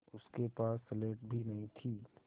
उसके पास स्लेट भी नहीं थी